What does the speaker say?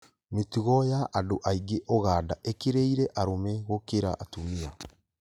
Mĩtugo ya andũ aingĩ Uganda ĩkĩrĩire arũme gũkĩra atumia